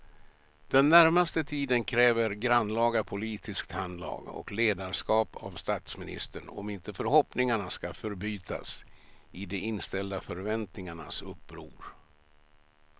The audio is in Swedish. Den närmaste tiden kräver grannlaga politiskt handlag och ledarskap av statsministern om inte förhoppningarna ska förbytas i de inställda förväntningarnas uppror.